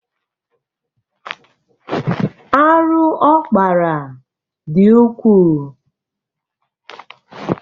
Arụ ọ kpara dị ukwuu.